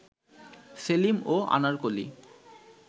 সেলিম ও আনারকলি